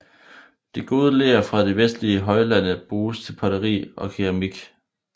Det gode ler fra de vestlige højlande bruges til potteri og keramik